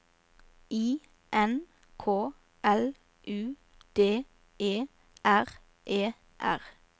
I N K L U D E R E R